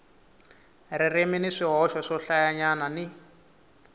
ririmi ni swihoxo swohlayanyana ni